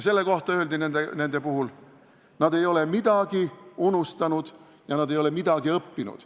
Selle kohta öeldi nendel puhul, et nad ei ole midagi unustanud ja nad ei ole midagi õppinud.